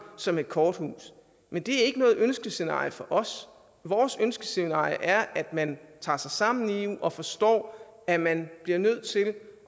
som et korthus men det er ikke noget ønskescenarie for os vores ønskescenarie er at man tager sig sammen i eu og forstår at man bliver nødt til at